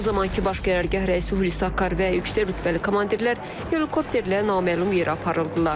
O zamankı Baş Qərargah rəisi Hulusi Akar və yüksək rütbəli komandirlər helikopterlə naməlum yerə aparıldılar.